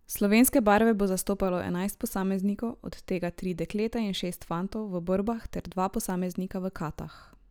Slovenske barve bo zastopalo enajst posameznikov, od tega tri dekleta in šest fantov v borbah ter dva posameznika v katah.